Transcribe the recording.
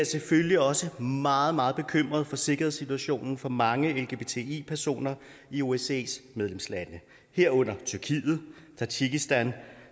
selvfølgelig også meget meget bekymret for sikkerhedssituationen for mange lgbti personer i osces medlemslande herunder tyrkiet tadsjikistan